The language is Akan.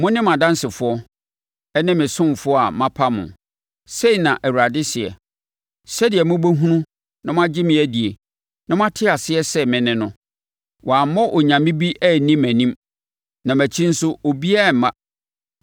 “Mone mʼadansefoɔ, ne me ɔsomfoɔ a mapa no,” sei na Awurade seɛ, “sɛdeɛ mobɛhunu na moagye me adie na moate aseɛ sɛ me ne no. Wɔammɔ onyame bi anni mʼanim, na mʼakyi nso obiara remma.